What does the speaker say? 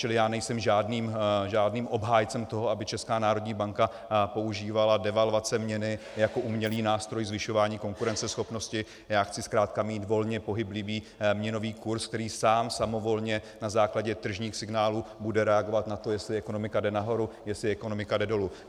Čili já nejsem žádným obhájcem toho, aby Česká národní banka používala devalvace měny jako umělý nástroj zvyšování konkurenceschopnosti, já chci zkrátka mít volně pohyblivý měnový kurz, který sám, samovolně na základě tržních signálů bude reagovat na to, jestli ekonomika jde nahoru, jestli ekonomika jde dolů.